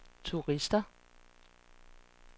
turister